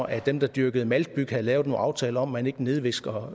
at dem der dyrkede maltbyg havde lavet en aftale om at man ikke nedvisnede